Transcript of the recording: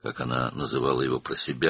öz-özünə ona bu adla müraciət edirdi.